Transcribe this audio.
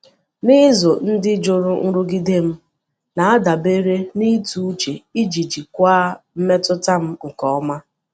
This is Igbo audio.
N’izu ndị juru nrụgide, m na-adabere n’ịtụ uche iji jikwaa mmetụta m nke ọma.